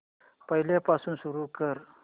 पहिल्यापासून सुरू कर